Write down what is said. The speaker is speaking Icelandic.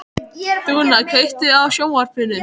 Dúnna, kveiktu á sjónvarpinu.